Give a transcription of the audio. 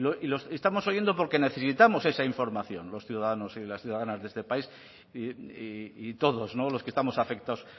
y los estamos oyendo porque necesitamos esa información los ciudadanos y las ciudadanas de este país y todos no los que estamos afectados